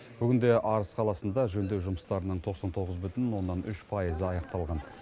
бүгінде арыс қаласында жөндеу жұмыстарының тоқсан тоғыз бүтін оннан үш пайызы аяқталған